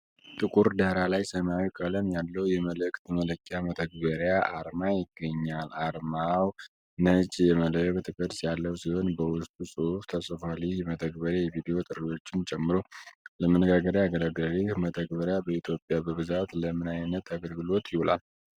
ጥቁር ዳራ ላይ ሰማያዊ ቀለም ያለው የመልዕክት መላላኪያ መተግበሪያ አርማ ይገኛል። አርማው ነጭ የመልዕክት ቅርፅ ያለው ሲሆን በውስጡ ጽሑፍ ተጽፏል። ይህ መተግበሪያ የቪዲዮ ጥሪዎችን ጨምሮ ለመነጋገር ያገለግላል። ይህ መተግበሪያ በኢትዮጵያ በብዛት ለምን ዓይነት አገልግሎት ይውላል?